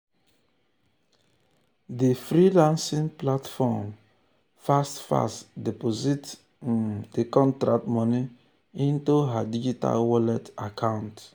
di freelancing platform fast-fast deposit um di contract moni into her digital wallet um account.